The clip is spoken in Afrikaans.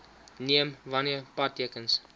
neem wanneer padtekens